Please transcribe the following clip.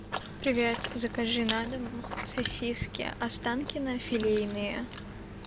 привет закажи на дом сосиски останкино филейные